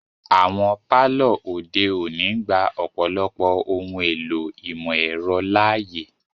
Awọn palọ ode oni ngba ọ̀pọlọpọ ohun èlò imọ-ẹrọ laaye.